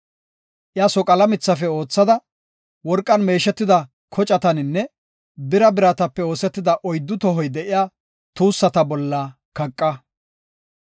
Iya soqala mithafe oothada, worqan meeshetida kocataninne bira biratape oosetida oyddu tohoy de7iya tuussata bolla kaqa.